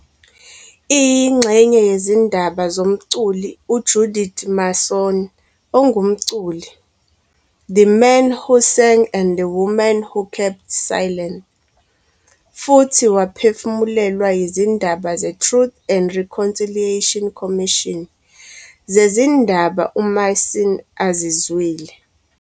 Iyingxenye yezindaba zomculi uJudith Mason ongumculi, "The Man Who Sang and the Women Who Kept Silent" futhi waphefumulelwa yizindaba ze Truth and Reconciliation Commission zezindaba uMason azizwile.